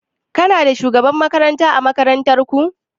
Kuna da shugaban makaranta ã makarantan ku?